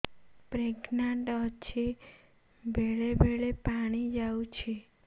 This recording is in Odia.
ପ୍ରେଗନାଂଟ ଅଛି ବେଳେ ବେଳେ ପାଣି ଯାଉଛି